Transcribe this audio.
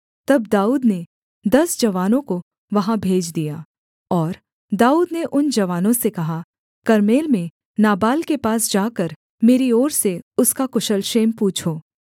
तब दाऊद ने दस जवानों को वहाँ भेज दिया और दाऊद ने उन जवानों से कहा कर्मेल में नाबाल के पास जाकर मेरी ओर से उसका कुशल क्षेम पूछो